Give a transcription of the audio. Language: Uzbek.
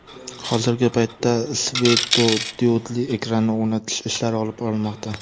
Hozirgi paytda svetodiodli ekranni o‘rnatish ishlari olib borilmoqda.